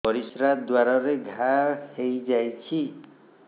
ପରିଶ୍ରା ଦ୍ୱାର ରେ ଘା ହେଇଯାଇଛି